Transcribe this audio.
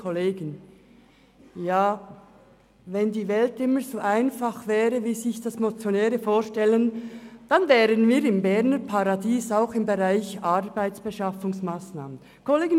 Ja, wenn die Welt immer so einfach wäre, wie die Motionäre sich dies vorstellen, dann wären wir auch im Bereich der Arbeitsbeschaffungsmassnahmen in einem Berner Paradies.